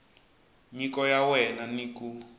nyiko ya wena ni ku